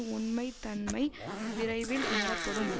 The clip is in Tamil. உண்மைத் தன்மை விரைவில் உணரப்படும்